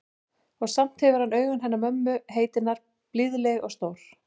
Og samt hefur hann augun hennar mömmu heitinnar, blíðleg og stór.